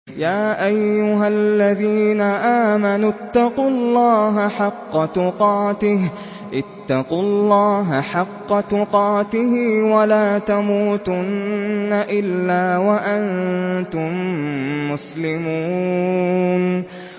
يَا أَيُّهَا الَّذِينَ آمَنُوا اتَّقُوا اللَّهَ حَقَّ تُقَاتِهِ وَلَا تَمُوتُنَّ إِلَّا وَأَنتُم مُّسْلِمُونَ